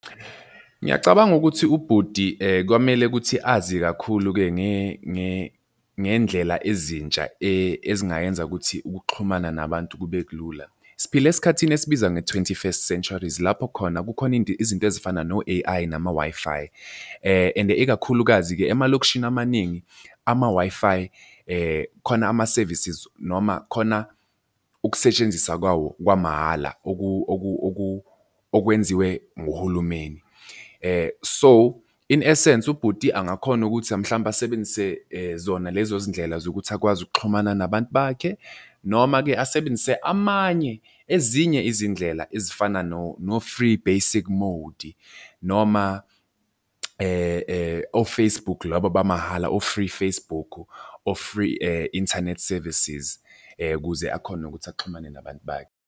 Ngiyacabanga ukuthi ubhuti kwamele ukuthi azi kakhulu-ke ngey'ndlela ezintsha ezingayenza ukuthi ukuxhumana nabantu kube kulula. Siphila esikhathini esibiza nge-twenty first centuries, lapho khona kukhona into izinto ezifana no-A_I nama-Wi-Fi and ikakhulukazi-ke emalokishini amaningi ama-Wi-Fi khona ama-services noma khona ukusetshenziswa kwawo kwamahhala okwenziwe nguhulumeni. So, in essence ubhuti angakhona ukuthi mhlampe asebenzise zona lezo zindlela zokuthi akwazi ukuxhumana nabantu bakhe, noma-ke asebenzise amanye ezinye izindlela ezifana no-free basic mode noma o-Facebook laba bamahhala o-free Facebook, o-free internet services ukuze akhone ukuthi axhumane nabantu bakhe.